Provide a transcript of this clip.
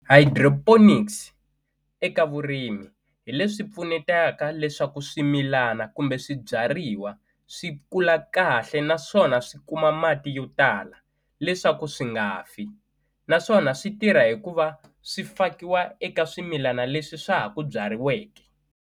Hydroponics eka vurimi hi leswi pfunetaka leswaku swimilana kumbe swibyariwa swi kula kahle naswona swi kuma mati yo tala leswaku swi nga fi naswona swi tirha hikuva swi fakiwa eka swimilana leswi swa ha ku byariweke.